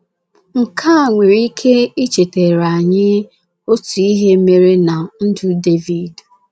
Nke a nwere ike ichetara anyị otu ihe mere ná ndụ Devid.